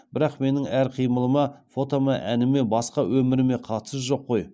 бірақ менің әр қимылыма фотома әніме басқа өміріме қатысы жоқ қои